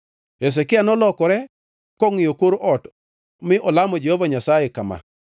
Hezekia nolokore kongʼiyo kor ot mi olamo Jehova Nyasaye kama,